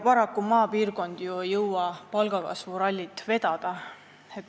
Paraku ei jõua maapiirkond palgakasvu rallit vedada.